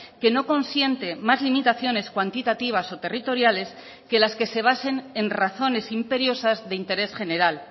que no consiente más limitaciones cuantitativas o territoriales que las que se basen en razones imperiosas de interés general